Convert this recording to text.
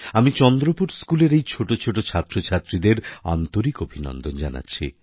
আমি চন্দ্রপুর স্কুলের এই ছোট ছোট ছাত্রছাত্রীদের আন্তরিক অভিনন্দন জানাচ্ছি